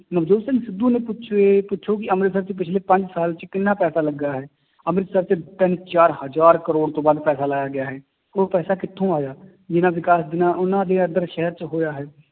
ਨਵਜੋਤ ਸਿੰਘ ਸਿੱਧੂ ਨੇ ਪੁਛੋ ਇਹ ਪੁੱਛੋ ਕਿ ਅੰਮ੍ਰਿਤਸਰ ਚ ਪਿੱਛਲੇ ਪੰਜ ਸਾਲ ਚ ਕਿੰਨਾ ਪੈਸਾ ਲੱਗਾ ਹੈ, ਅੰਮ੍ਰਿਤਸਰ ਚ ਤਿੰਨ ਚਾਰ ਹਜ਼ਾਰ ਕਰੌੜ ਤੋਂ ਵੱਧ ਪੈਸਾ ਲਾਇਆ ਗਿਆ ਹੈ, ਉਹ ਪੈਸਾ ਕਿੱਥੋਂ ਆਇਆ, ਜਿੰਨਾ ਵਿਕਾਸ ਜਿੰਨਾ ਉਹਨਾਂ ਦੇ ਇੱਧਰ ਸ਼ਹਿਰ ਚ ਹੋਇਆ ਹੈ,